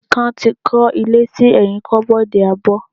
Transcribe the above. Ikan ti kó ilé sí ẹyin koboodu abó.